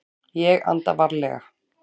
Ég anda varlega.